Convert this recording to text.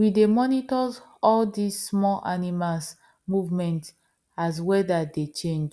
we dey monitors all these small animals movement as weather dey change